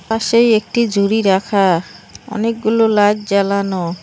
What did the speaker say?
পাশেই একটি জুরি রাখা অনেকগুলো লাইট জ্বালানো।